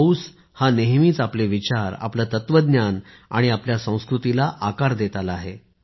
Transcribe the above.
पाऊस हा नेहमीच आपले विचार आपलं तत्वज्ञान आणि आपल्या संस्कृतीला आकार देत आला आहे